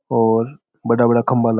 और बड़ा बड़ा खंबा ला --